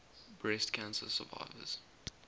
breast cancer survivors